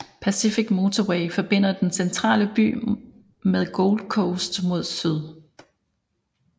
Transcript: Pacific Motorway forbinder den centrale by med Gold Coast mod syd